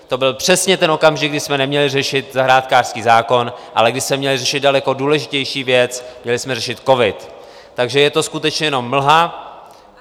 To byl přesně ten okamžik, kdy jsme neměli řešit zahrádkářský zákon, ale kdy jsme měli řešit daleko důležitější věc, měli jsme řešit covid, takže je to skutečně jenom mlha.